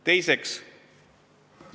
Teiseks ...